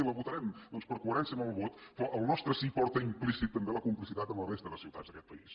i la votarem doncs per coherència amb el vot però el nostre sí porta implícita també la complicitat amb la resta de ciutats d’aquest país